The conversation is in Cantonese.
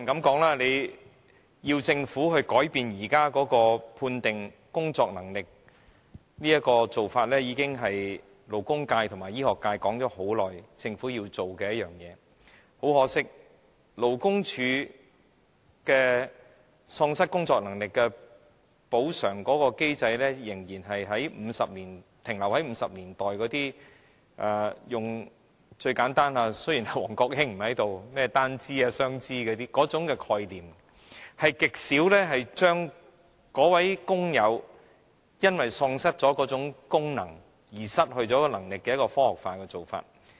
當然，要求政府改變現時判定喪失工作能力的做法，勞工界和醫學界已很長時間提出有關訴求，很可惜，勞工處的永久喪失工作能力的補償機制仍然停留在1950年代，用最簡單的——王國興不在這裏——"單肢"或"雙肢"的概念，極少對於該位因為身體喪失功能而失去工作能力的工友採取科學化方法來評估。